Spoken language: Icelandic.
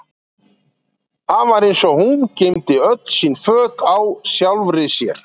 Það var eins og hún geymdi öll sín föt á sjálfri sér.